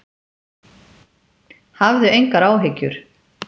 Hafðu engar áhyggjur.